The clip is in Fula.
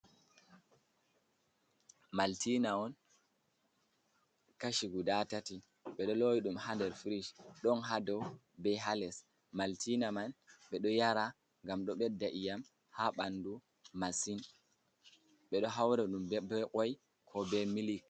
Maltina on kashi guda tati ɓeɗo lowi ɗum ha nder frish, ɗon ha dou be ha les, maltina man ɓe ɗo yara ngam ɗo ɓeɗɗa i'yam ha ɓanɗu masin, ɓeɗo haura ɗum ɓe koi ko be milik.